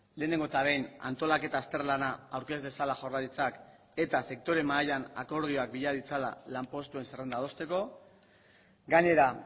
lehenengo eta behin antolaketa azterlana aurkez dezala jaurlaritzak eta sektore mahaian akordioak bila ditzala lanpostuen zerrenda adosteko gainera